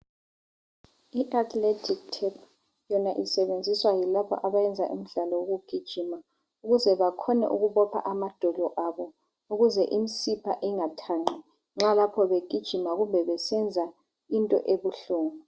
IAtheletic tape yona isebenziswa yilaba abayenza imidlalo yokugijima ukuze bakhona ukubopha amadolo abo .Ukuze imisipha ingathanqi nxa lapho begijima kumbe besenza into ebuhlungu.